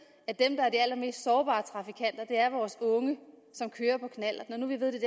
at dem der er de allermest sårbare trafikanter er vores unge som kører på knallert når nu vi ved at det